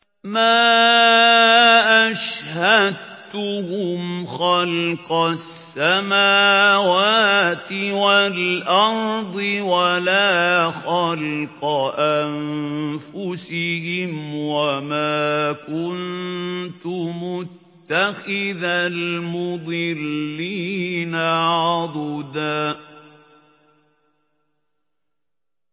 ۞ مَّا أَشْهَدتُّهُمْ خَلْقَ السَّمَاوَاتِ وَالْأَرْضِ وَلَا خَلْقَ أَنفُسِهِمْ وَمَا كُنتُ مُتَّخِذَ الْمُضِلِّينَ عَضُدًا